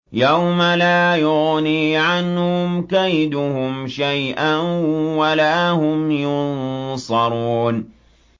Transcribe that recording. يَوْمَ لَا يُغْنِي عَنْهُمْ كَيْدُهُمْ شَيْئًا وَلَا هُمْ يُنصَرُونَ